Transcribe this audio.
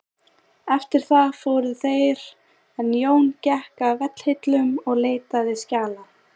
Eftir það fóru þeir en Jón gekk að vegghillum og leitaði skjala.